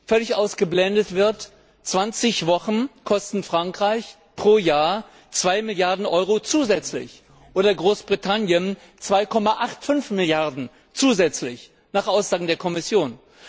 Völlig ausgeblendet wird 20 Wochen kosten Frankreich pro Jahr 2 Milliarden Euro zusätzlich oder Großbritannien 2,85 Milliarden zusätzlich nach Aussagen der Kommission.